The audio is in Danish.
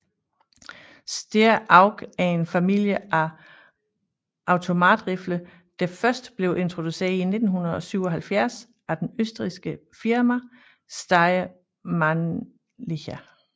Steyr AUG er en familie af automatrifler der først blev introduceret i 1977 af det østrigske firma Steyr Mannlicher